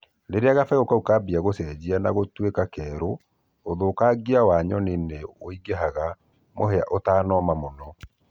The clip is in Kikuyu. rĩrĩa gabegũ kaũ kaambĩrĩrĩa gũcenjĩa na gũtũĩka keerũ ũthũkangĩa wa nyonĩ nĩ wũĩngĩhaga mũhĩa ũtanooma mũno